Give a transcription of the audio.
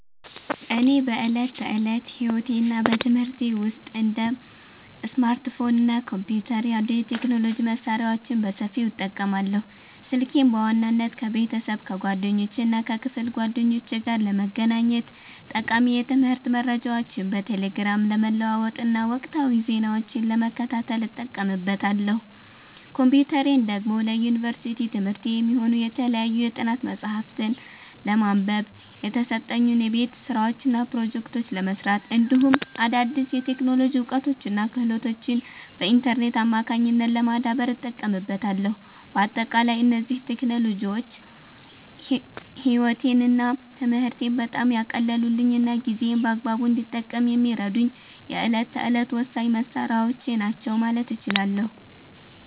እኔ በዕለት ተዕለት ሕይወቴና በትምህርቴ ውስጥ እንደ ስማርትፎን እና ኮምፒውተር ያሉ የቴክኖሎጂ መሣሪያዎችን በሰፊው እጠቀማለሁ። ስልኬን በዋናነት ከቤተሰብ፣ ከጓደኞቼና ከክፍል ጓደኞቼ ጋር ለመገናኘት፣ ጠቃሚ የትምህርት መረጃዎችን በቴሌግራም ለመለዋወጥና ወቅታዊ ዜናዎችን ለመከታተል እጠቀምበታለሁ። ኮምፒውተሬን ደግሞ ለዩኒቨርሲቲ ትምህርቴ የሚሆኑ የተለያዩ የጥናት መጽሐፍትን ለማንበብ፣ የተሰጡኝን የቤት ሥራዎችና ፕሮጀክቶች ለመሥራት፣ እንዲሁም አዳዲስ የቴክኖሎጂ እውቀቶችንና ክህሎቶችን በኢንተርኔት አማካኝነት ለማዳበር እጠቀምበታለሁ። በአጠቃላይ እነዚህ ቴክኖሎጂዎች ሕይወቴንና ትምህርቴን በጣም ያቀለሉልኝና ጊዜዬን በአግባቡ እንድጠቀም የሚረዱኝ የዕለት ተዕለት ወሳኝ መሣሪያዎቼ ናቸው ማለት እችላለሁ።